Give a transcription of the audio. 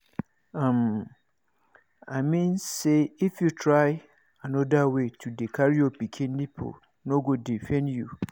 um i mean say if you try another way to dey carry your pikin nipple no go dey pain you